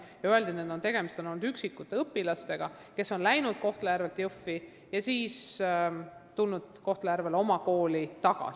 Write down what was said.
Mulle öeldi, et tegemist on olnud üksikute õpilastega, kes on läinud Kohtla-Järvelt Jõhvi ja tulnud siis Kohtla-Järvele oma kooli tagasi.